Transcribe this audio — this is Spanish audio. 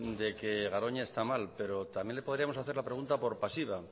de que garoña está mal pero también le podríamos hacer la pregunta por pasiva